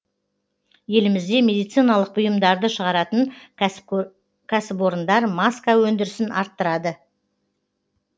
елімізде медициналық бұйымдарды шығаратын кәсіпорындар маска өндірісін арттырады